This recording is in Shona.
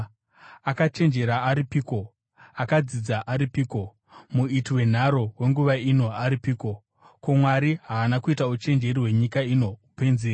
Akachenjera aripiko? Akadzidza aripiko? Muiti wenharo wenguva ino aripiko? Ko, Mwari haana kuita uchenjeri hwenyika ino upenzi here?